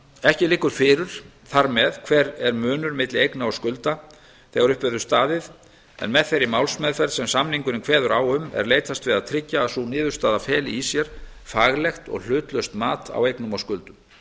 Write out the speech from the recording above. ekki liggur fyrir þar með hver er munur milli eigna og skulda þegar upp verður staðið en með þeirri málsmeðferð sem samningurinn kveður á um er leitast við að tryggja að sú niðurstaða feli í sér faglegt og hlutlaust mat á eignum og skuldum